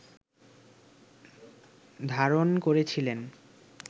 ধারণ করেছিলেন